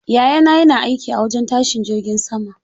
Yayana yana aiki a wajen tashin jirgin sama.